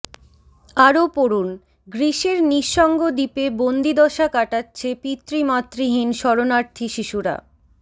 আরও পড়ুন গ্রিসের নিঃসঙ্গ দ্বীপে বন্দিদশা কাটাচ্ছে পিতৃমাতৃহীন শরণার্থী শিশুরা